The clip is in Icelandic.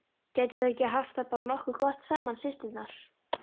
Gætu þær ekki haft það bara nokkuð gott saman, systurnar?